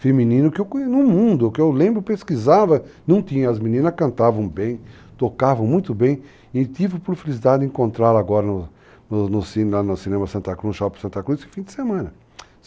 feminino que eu no mundo, que eu lembro pesquisava, não tinha, as meninas cantavam bem, tocavam muito bem, e tive por felicidade de encontrá-la agora no no cinema Santa Cruz, no Shopping Santa Cruz, esse fim de semana.